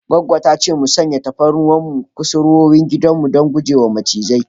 Goggo ta ce mu sanya tafarnuwa a kusurwoyin gidan don guje wa macizai.